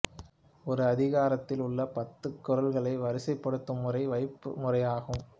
ஒரு அதிகாரத்தில் உள்ள பத்துக் குறள்களை வரிசைப்படுத்தும் முறை வைப்பு முறை ஆகும்